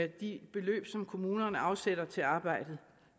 de beløb som kommunerne afsætter til arbejdet